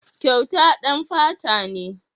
Kyauta ɗan fata ne.